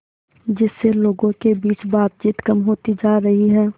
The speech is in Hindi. जिससे लोगों के बीच बातचीत कम होती जा रही है